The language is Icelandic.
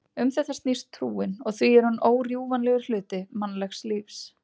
Um þetta snýst trúin og því er hún órjúfanlegur hluti mannlegs lífs.